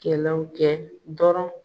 Kɛlɛw kɛ dɔrɔn.